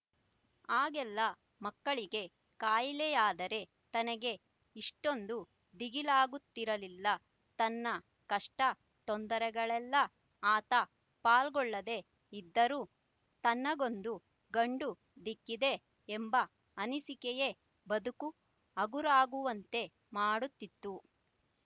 ಆಗೆಲ್ಲ ಮಕ್ಕಳಿಗೆ ಖಾಯಿಲೆಯಾದರೆ ತನಗೆ ಇಷ್ಟೊಂದು ದಿಗಿಲಾಗುತ್ತಿರಲಿಲ್ಲ ತನ್ನ ಕಷ್ಟ ತೊಂದರೆಗಳಲ್ಲ ಆತ ಪಾಲ್ಗೊಳ್ಳದೇ ಇದ್ದರೂ ತನಗೊಂದು ಗಂಡು ದಿಕ್ಕಿದೆ ಎಂಬ ಅನಿಸಿಕೆಯೇ ಬದುಕು ಹಗುರಾಗುವಂತೆ ಮಾಡುತ್ತಿತ್ತು